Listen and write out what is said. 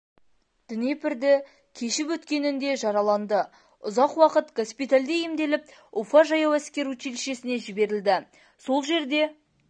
днепрді кешіп өткенінде жараланды ұзақ уақыт госпиталде емделіп уфа жаяу әскер училищесіне жіберілді сол жерде